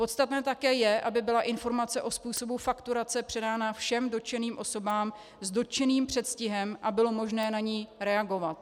Podstatné také je, aby byla informace o způsobu fakturace předána všem dotčeným osobám s dotyčným předstihem a bylo možné na ni reagovat.